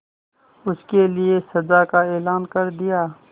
उसके लिए सजा का ऐलान कर दिया